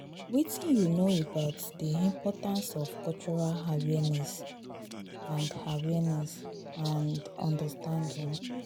wetin you know about di importance of cultural awareness and awareness and understanding?